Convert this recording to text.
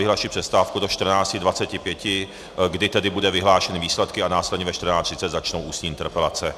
Vyhlašuji přestávku do 14.25, kdy tedy budou vyhlášeny výsledky a následně ve 14.30 začnou ústní interpelace.